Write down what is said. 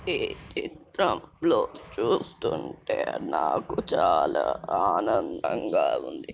ఈ చిత్రంలో చూస్తూంటే నాకు చాలా ఆనందంగా ఉంది